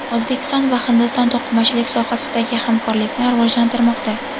O‘zbekiston va Hindiston to‘qimachilik sohasidagi hamkorlikni rivojlantirmoqda.